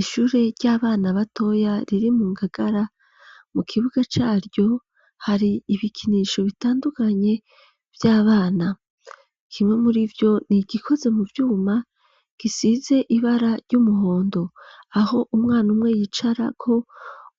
Ishure ry'abana batoya riri mu ngagara mu kibuga ca ryo hari ibikinisho bitandukanye vy'abana, kimwe muri vyo ni igikozwe mu vyuma gisize ibara ry'umuhondo, aho umwana umwe yicarako,